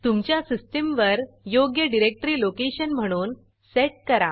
तुमच्या सिस्टीमवर योग्य डिरेक्टरी लोकेशन म्हणून सेट करा